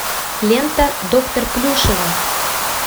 лента доктор плюшева